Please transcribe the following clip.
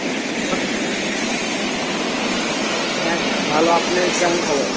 হ্যাঁ, ভালো, আপনি কেমন খবর?